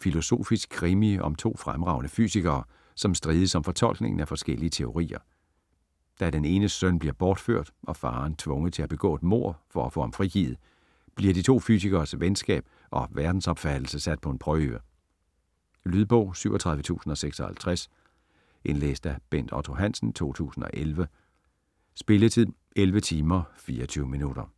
Filosofisk krimi om to fremragende fysikere, som strides om fortolkningen af forskellige teorier. Da den enes søn bliver bortført, og faderen tvunget til at begå et mord for at få ham frigivet, bliver de to fysikeres venskab og verdensopfattelse sat på en prøve. Lydbog 37056 Indlæst af Bent Otto Hansen, 2011. Spilletid: 11 timer, 24 minutter.